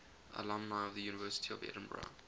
alumni of the university of edinburgh